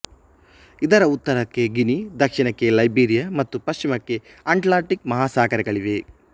ಇದರ ಉತ್ತರಕ್ಕೆ ಗಿನಿ ದಕ್ಷಿಣಕ್ಕೆ ಲೈಬೀರಿಯ ಮತ್ತು ಪಶ್ಚಿಮಕ್ಕೆ ಅಟ್ಲಾಂಟಿಕ್ ಮಹಾಸಾಗರಗಳಿವೆ